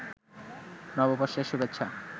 নববর্ষের শুভেচ্ছা